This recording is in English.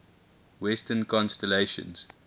western constellations